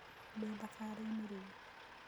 Ndĩ thabarĩĩnĩ rĩũ.